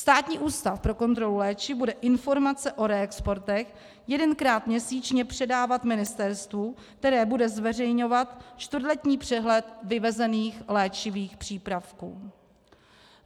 Státní ústav pro kontrolu léčiv bude informace o reexportech jedenkrát měsíčně předávat ministerstvu, které bude zveřejňovat čtvrtletní přehled vyvezených léčivých přípravků.